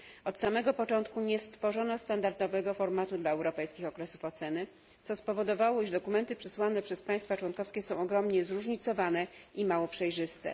Od samego początku nie stworzono standardowego formatu dla europejskich okresów oceny, co spowodowało, że dokumenty przesłane przez państwa członkowskie są ogromnie zróżnicowane i mało przejrzyste.